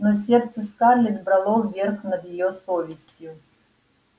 но сердце скарлетт брало верх над её совестью